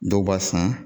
Dɔw b'a sɔn